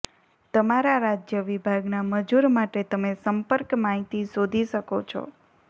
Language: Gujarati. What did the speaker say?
તમારા રાજ્ય વિભાગના મજૂર માટે તમે સંપર્ક માહિતી શોધી શકો છો